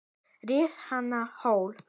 Ríf hana á hol.